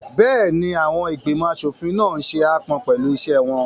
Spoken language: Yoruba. Bẹ́ẹ̀ni, àwọn ìgbìmọ̀ aṣòfin náà n ṣe aápọn pẹ̀lú iṣẹ́ wọn